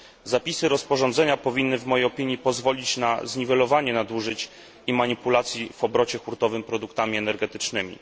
Zapisy rozporządzenia powinny w mojej opinii pozwolić na zniwelowanie nadużyć i manipulacji w obrocie hurtowym produktami energetycznymi.